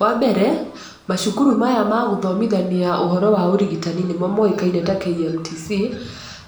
Wa mbere macukuru maya magũthomithania ũhoro wa ũrigitani nĩmo moĩkaine ta KMTC,